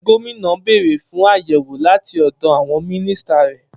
Gómìnà béèrè fún àyẹ̀wò láti ọ̀dọ̀ àwọn mínísítà rẹ̀.